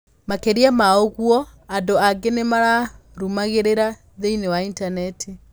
Makĩria ma ũguo, andũ aingĩ nĩmamũrũmagĩrĩra thĩinĩ wa Intaneti.